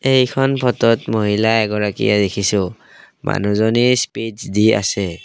এইখন ফটোত মহিলা এগৰাকীয়ে দেখিছোঁ মানুহজনীৰ স্পিছ দি আছে।